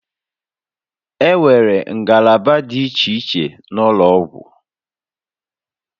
Enwere ngalaba dị iche iche n'ụlọ ọgwụ